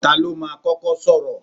Ta ló máa kọ́kọ́ sọ̀rọ̀?